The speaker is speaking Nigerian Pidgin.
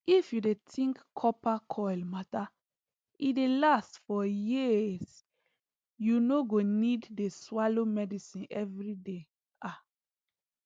if u dey think copper coil matter e dey last for years u no go need dey swallow medicine everyday ah